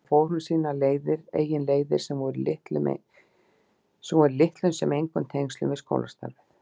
Þar fór hún sínar eigin leiðir sem voru í litlum sem engum tengslum við skólastarfið.